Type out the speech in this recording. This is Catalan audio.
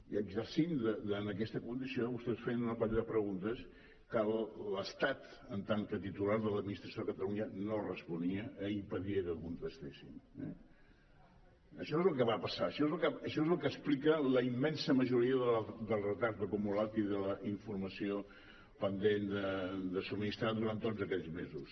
i exercint aquesta condició vostès feien una colla de preguntes que l’estat en tant que titular de l’administració a catalunya no responia i impedia que contestéssim eh això és el que va passar això és el que explica la immensa majoria del retard acumulat i de la informació pendent de subministrar durant tots aquells mesos